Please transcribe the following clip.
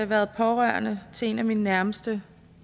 været pårørende til en af mine nærmeste